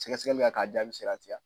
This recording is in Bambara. Sɛgɛsɛgɛliw ya k'a jaabi seere ya tigɛ a.